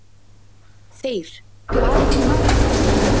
Þeyr, hvað er í matinn?